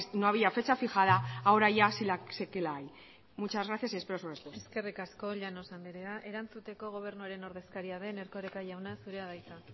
no había fecha fijada ahora ya sí que la hay muchas gracias y espero su respuesta eskerrik asko llanos andrea erantzuteko gobernuaren ordezkaria den erkoreka jauna zurea da hitza